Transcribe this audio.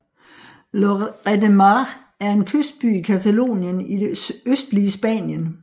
Lloret de Mar er en kystby i Catalonien i det østlige Spanien